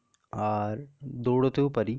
আর দৌড়াতে ও পারি.